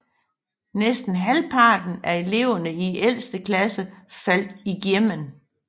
Næsten halvparten af eleverne i ældste classe faldt igjennem